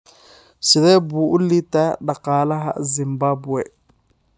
Sidee buu u liitaa dhaqaalaha Zimbabwe?